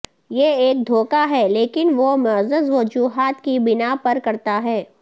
یہ ایک دھوکہ ہے لیکن وہ معزز وجوہات کی بناء پر کرتا ہے